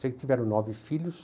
Sei que tiveram nove filhos,